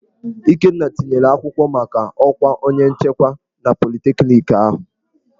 Ikenna tinyere akwụkwọ maka ọkwa onye nchekwa na politekniki ahụ.